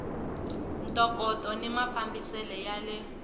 ntokoto ni mafambisele ya le